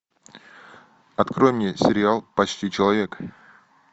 открой мне сериал почти человек